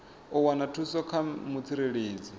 u wana thuso kha mutsireledzi